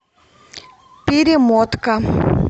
перемотка